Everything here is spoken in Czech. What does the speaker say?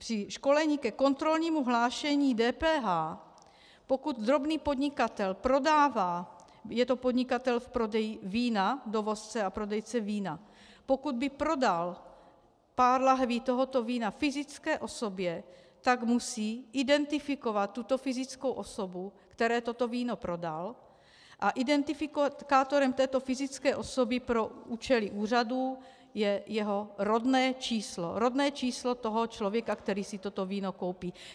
Při školení ke kontrolnímu hlášení DPH, pokud drobný podnikatel prodává, je to podnikatel v prodeji vína, dovozce a prodejce vína, pokud by prodal pár lahví tohoto vína fyzické osobě, tak musí identifikovat tuto fyzickou osobu, které toto víno prodal, a identifikátorem této fyzické osoby pro účely úřadů je jeho rodné číslo, rodné číslo toho člověka, který si toto víno koupí.